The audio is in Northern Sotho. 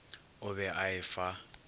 o be a e fa